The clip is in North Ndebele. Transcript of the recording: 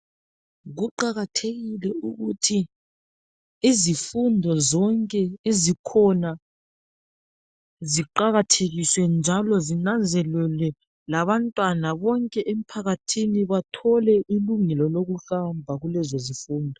Kuqakathekile ukuthi izifundo zonke ezikhona ziqakathekiswe, njalo zinanzelelwe. Labantwana bonke emphakathini bathole ilungelo lokuhamba kulezo zifundo.